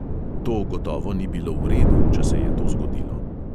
To gotovo ni bilo v redu, če se je to zgodilo.